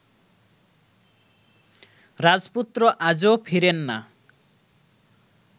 রাজপুত্র আজও ফিরেন না